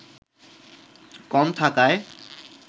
কম থাকায়